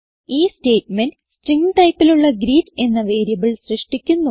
ഈ statement string ടൈപ്പിലുള്ള greet എന്ന വേരിയബിൾ സൃഷ്ടിക്കുന്നു